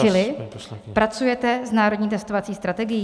Čili pracujete s Národní testovací strategií?